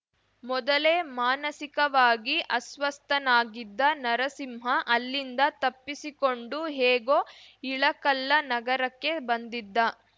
ಮೊದಲೇ ಮಾನಸಿಕವಾಗಿ ಅಸ್ವಸ್ಥನಾಗಿದ್ದ ನರಸಿಂಹ ಅಲ್ಲಿಂದ ತಪ್ಪಿಸಿಕೊಂಡು ಹೇಗೋ ಇಳಕಲ್ಲ ನಗರಕ್ಕೆ ಬಂದಿದ್ದ